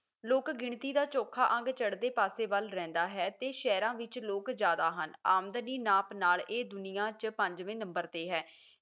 ਲੋਕ ਗਿਣਤੀ ਦਾ ਚੋਖਾ ਅੰਗ ਚੜਦੇ ਪਾਸੇ ਵੱਲ ਰਹਿੰਦਾ ਹੈ ਤੇ ਸ਼ਹਿਰਾਂ ਵਿੱਚ ਲੋਕ ਜ਼ਿਆਦਾ ਹਨ ਆਮਦਨੀ ਨਾਪ ਨਾਲ ਦੁਨੀਆਂ ਚ ਪੰਜਵੇਂ ਨੰਬਰ ਤੇ ਹੈ